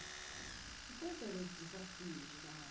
Quais eram os desafios de dar aula?